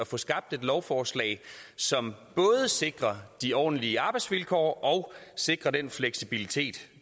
få skabt et lovforslag som både sikrer de ordentlige arbejdsvilkår og sikrer den fleksibilitet